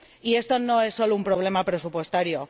Y esto no es solo un problema presupuestario.